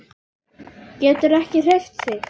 Getur ekki hreyft sig.